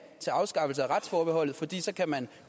til afskaffelse af retsforbeholdet fordi så kan man